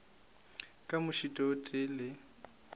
ka mošito o tee le